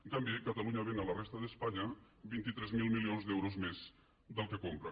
en canvi catalunya ven a la resta d’espanya vint tres mil milions d’euros més del que compra